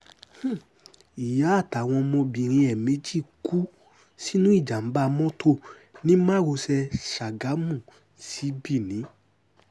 ìyá àtàwọn ọmọbìnrin ẹ̀ méjì kú sínú ìjàm̀bà mọ́tò ní márosẹ̀ ṣàgámù sí benin